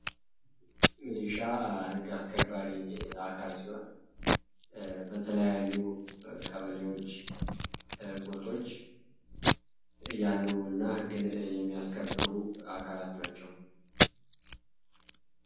ሚሊሻ ህግ አስከባሪ አካል ሲሆን የተለያዩ ቀበሌዎች ጉጦች ያሉ እና ህግን የሚያስከብሩ አካላት ናቸው።